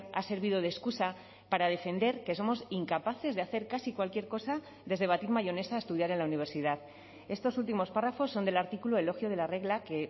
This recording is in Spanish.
ha servido de excusa para defender que somos incapaces de hacer casi cualquier cosa desde batir mayonesa a estudiar en la universidad estos últimos párrafos son del artículo elogio de la regla que